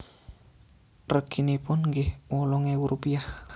Reginipun inggih wolung ewu rupiah